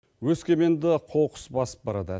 өскеменді қоқыс басып барады